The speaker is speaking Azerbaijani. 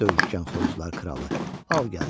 "Döyüşkən xoruzlar kralı, al gəldi."